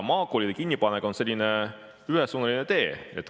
Maakoolide kinnipanek on selline ühesuunaline tee.